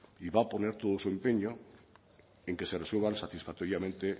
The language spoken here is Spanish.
y va a poner todo su empeño en que se resuelvan satisfactoriamente